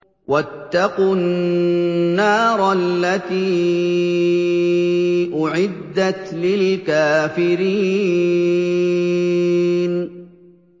وَاتَّقُوا النَّارَ الَّتِي أُعِدَّتْ لِلْكَافِرِينَ